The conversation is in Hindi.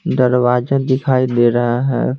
दरवाजा दिखाई दे रहा है।